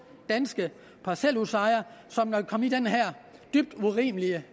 danske parcelhusejere som er kommet i den her dybt urimelige